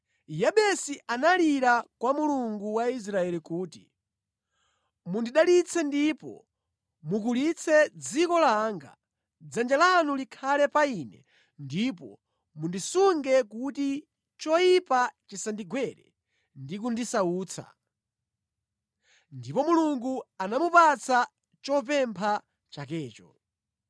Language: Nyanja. Yabesi analira kwa Mulungu wa Israeli kuti, “Mundidalitse ndipo mukulitse dziko langa! Dzanja lanu likhale pa ine ndipo mundisunge kuti choyipa chisandigwere ndi kundisautsa.” Ndipo Mulungu anamupatsa chopempha chakecho.